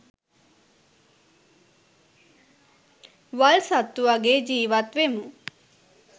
වල් සත්තුවගේ ජීවත්වෙමු.